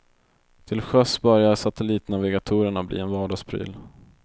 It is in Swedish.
Till sjöss börjar satellitnavigatorerna bli en vardagspryl.